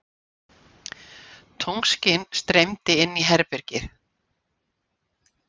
Tunglskin streymdi inn í herbergið.